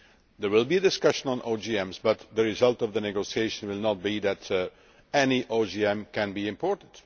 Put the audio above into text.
There will be discussions on GMOs, but the results of the negotiation will not be that any GMO can be imported.